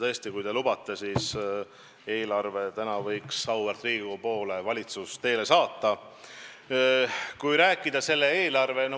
Tõesti, kui te lubate, siis täna võib valitsus eelarve auväärt Riigikogu poole teele saata.